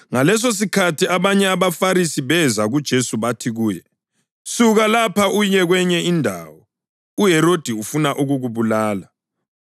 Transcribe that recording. Ngalesosikhathi abanye abaFarisi beza kuJesu bathi kuye, “Suka lapha uye kwenye indawo. UHerodi ufuna ukukubulala.”